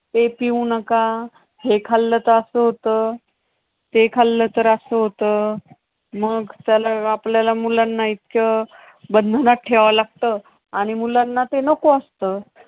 ते पिऊ नका, हे खाल्लं तर असं होतं, ते खाल्लं तर असं होतं. मग त्याला आपल्याला मुलांना इतकं बंधनात ठेवावं लागतं आणि मुलांना ते नको असतं.